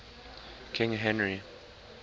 king henry